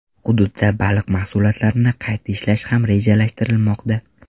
Hududda baliq mahsulotlarini qayta ishlash ham rejalashtirilmoqda.